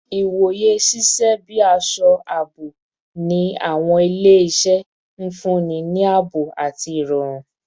Iwoye ṣiṣẹ bi aṣọ aabo ni awọn ile-iṣẹ, nfunni ni aabo ati irọrun